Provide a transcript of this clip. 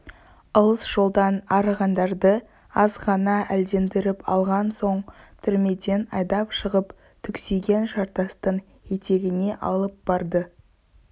алыс жолдан арығандарды аз ғана әлдендіріп алған соң түрмеден айдап шығып түксиген жартастың етегіне алып барды